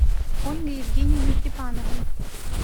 ольгой евгеньевной степановой